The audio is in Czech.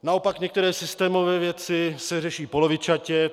Naopak některé systémové věci se řeší polovičatě.